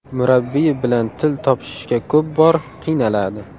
Murabbiyi bilan til topishishga ko‘p bor qiynaladi.